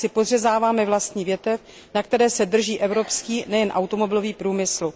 Jinak si podřezáváme vlastní větev, na které se drží evropský, nejen automobilový, průmysl.